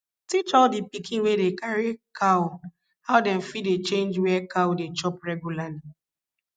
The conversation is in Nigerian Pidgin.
teach all di pikin wey dey carry cow how dem fit dey change where cow dey chop reglarly